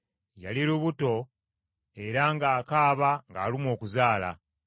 Yali lubuto era ng’akaaba ng’alumwa okuzaala.